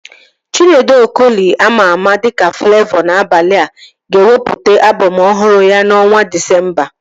Chinedu Okoli ama ama dịka Flavọ N'abania, ga-ewepụta album ọhụrụ ya na ọnwa Disemba